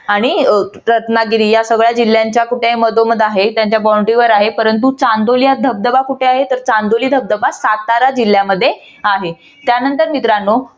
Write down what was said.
आणि रत्नागिरी या सगळ्या जिल्ह्यांच्या कुठे आहे मधोमध आहे. त्यांच्या boundary वर आहे परंतु चांदोली हा धबधबा कुठे आहे? तर चांदोली हा धबधबा सातारा जिल्ह्यामध्ये आहे. त्यानंतर मित्रांनो